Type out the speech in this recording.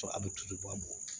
a bɛ tulu bɔ a bolo